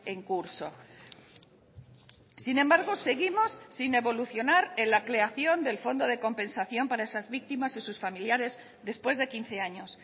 en curso sin embargo seguimos sin evolucionar en la creación del fondo de compensación para esas víctimas y sus familiares después de quince años